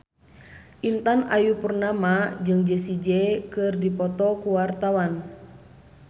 Intan Ayu Purnama jeung Jessie J keur dipoto ku wartawan